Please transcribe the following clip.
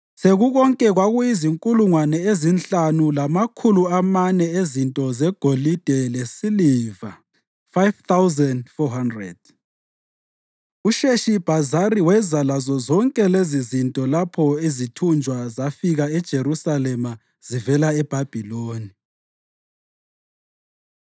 Sekukonke, kwakuyizinkulungwane ezinhlanu lamakhulu amane ezinto zegolide lesiliva (5,400). USheshibhazari weza lazozonke lezizinto lapho izithunjwa zafika eJerusalema zivela eBhabhiloni.